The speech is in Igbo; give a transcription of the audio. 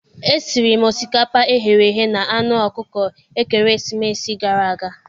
E siri osikapa eghereghe na anụ ọkụkọ ekeresimesi gara aga